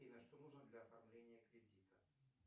афина что нужно для оформления кредита